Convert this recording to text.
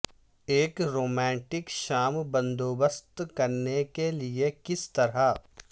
ایک رومانٹک شام بندوبست کرنے کے لئے کس طرح